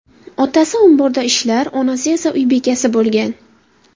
Otasi omborda ishlar, onasi esa uy bekasi bo‘lgan.